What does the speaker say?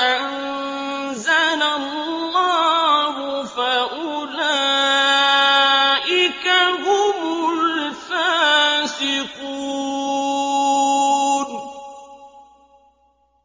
أَنزَلَ اللَّهُ فَأُولَٰئِكَ هُمُ الْفَاسِقُونَ